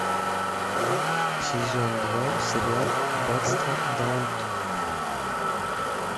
сезон два сериал аббатство даунтон